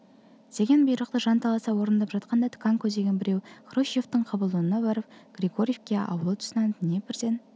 деген бұйрықты жанталаса орындап жатқанда тканко деген біреу хрущевтің қабылдауына барып григорьевка ауылы тұсынан днепрден